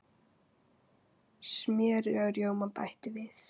Smjöri og rjóma bætt við.